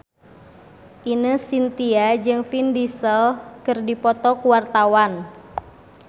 Ine Shintya jeung Vin Diesel keur dipoto ku wartawan